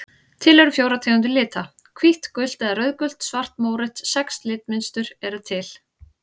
Til eru fjórar tegundir lita: hvítt gult eða rauðgult svart mórautt Sex litmynstur eru til.